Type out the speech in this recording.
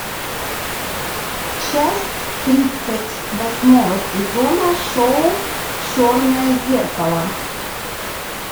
часть тридцать восьмого сезона шоу черное зеркало